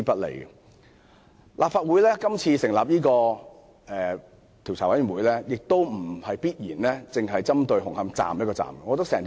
立法會今次若成立專責委員會，並非必然只針對紅磡站的問題。